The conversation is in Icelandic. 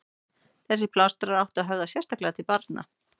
Þessir plástrar áttu að höfða sérstaklega til barna.